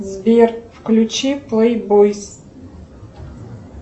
сбер включи плей бойс